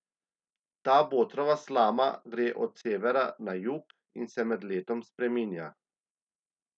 Ta botrova slama gre od severa na jug in se med letom spreminja.